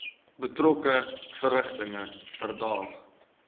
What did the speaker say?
betrokke verrigtinge verdaag